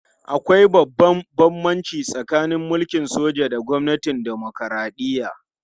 Akwai babban bambanci tsakanin mulkin soja da gwamnatin dimokuradiyya